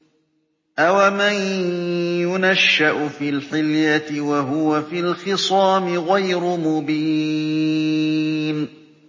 أَوَمَن يُنَشَّأُ فِي الْحِلْيَةِ وَهُوَ فِي الْخِصَامِ غَيْرُ مُبِينٍ